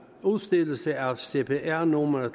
udstedelse af cpr numre